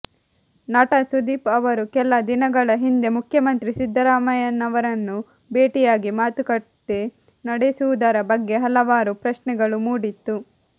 ನಟ ಸುದೀಪ್ ಅವರು ಕೆಲ ದಿನಗಳ ಹಿಂದೆ ಮುಖ್ಯಮಂತ್ರಿ ಸಿದ್ದರಾಮಯ್ಯನವರನ್ನು ಭೇಟಿಯಾಗಿ ಮಾತುಕತೆ ನಡೆಸಿರುವುದರ ಬಗ್ಗೆ ಹಲವಾರು ಪ್ರಶ್ನೆಗಳು ಮೂಡಿತ್ತು